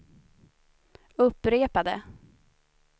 upprepade